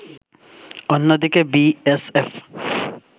অন্যদিকে বিএসএফ